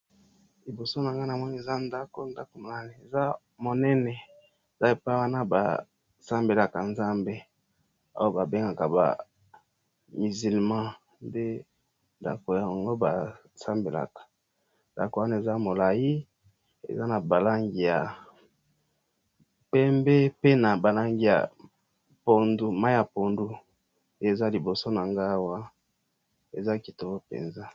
Liboso na ngai nazomona eza, ndaku ,ndaku yango eza esika oyo ba musulman basambelaka